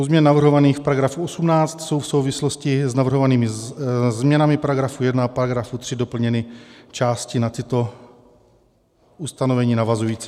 U změn navrhovaných v § 18 jsou v souvislosti s navrhovanými změnami § 1 a § 3 doplněny části na tato ustanovení navazující.